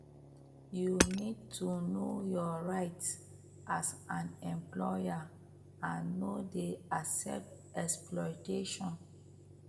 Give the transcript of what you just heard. you need to know your rights as an employee and no dey accept exploitation